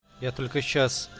я только сейчас